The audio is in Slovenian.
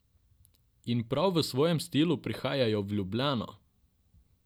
In prav v svojem stilu prihajajo v Ljubljano!